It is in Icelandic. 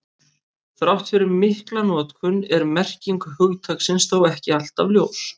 Þrátt fyrir mikla notkun er merking hugtaksins þó ekki alltaf ljós.